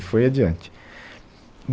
E foi adiante.